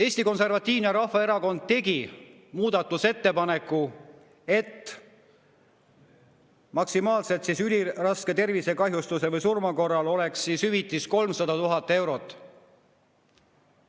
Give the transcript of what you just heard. Eesti Konservatiivne Rahvaerakond tegi muudatusettepaneku, et üliraske tervisekahjustuse või surma korral oleks hüvitis maksimaalselt 300 000 eurot.